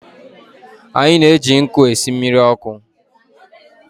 Anyị na-eji nkụ esị mmiri ọkụ.